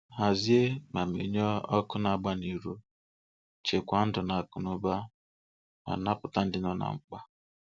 Hazie ma menyụọ ọkụ na-agba n'iro, chekwaa ndụ na akụnụba ma napụta ndị nọ na mkpa.